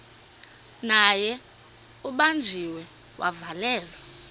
naye ubanjiwe wavalelwa